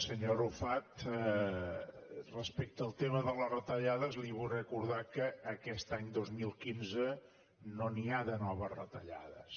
senyor arrufat respecte al tema de les retallades li vull recordar que aquest any dos mil quinze no n’hi ha de noves retallades